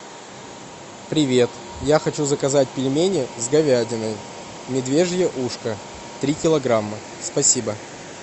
привет я хочу заказать пельмени с говядиной медвежье ушко три килограмма спасибо